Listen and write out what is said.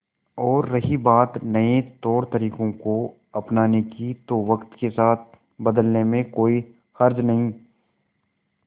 और रही बात नए तौरतरीकों को अपनाने की तो वक्त के साथ बदलने में कोई हर्ज नहीं